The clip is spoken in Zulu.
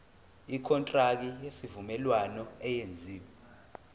ikontraki yesivumelwano eyenziwe